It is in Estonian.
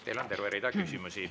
Teile on terve rida küsimusi.